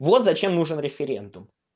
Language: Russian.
вот зачем нужен референдум